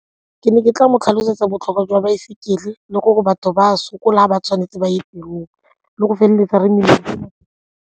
Ke ne ke tla mo tlhalosetsa botlhokwa jwa baesekele le gore batho ba sokola ba tshwanetse ba ya tirong le go feleletsa re .